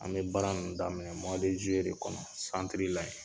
An bɛ baara ninnu daminɛ zuluye de kɔnɔ santiri la yan.